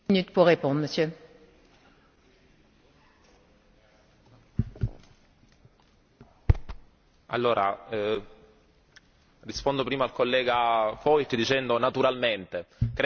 Rispondo prima al collega Voigt dicendo naturalmente, credo che il rispetto dei diritti umani e del monito da parte di noi parlamentari deve riguardare tutti i 28 paesi dell'Unione europea, quindi non mi interessa se riguarda il